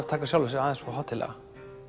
taka sjálfan sig aðeins of hátíðlega